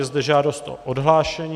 Je zde žádost o odhlášení.